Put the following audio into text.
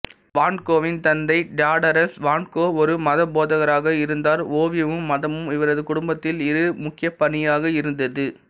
வான் கோவின் தந்தை Theodorus van Gogh ஒரு மதபோதகராக இருந்தார் ஓவியமும் மதமும் இவரது குடும்பத்தில் இரு முக்கியப்பணியாக இருந்தது